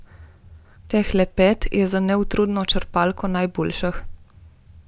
Tehle pet je za neutrudno črpalko najboljših.